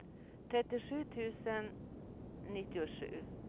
trettiosju tusen nittiosju